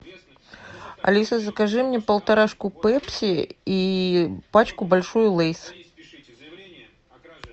алиса закажи мне полторашку пепси и пачку большую лейс